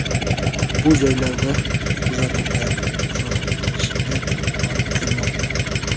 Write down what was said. Bu joylarda huquqbuzarliklar sodir etilishiga olib kelmoqda.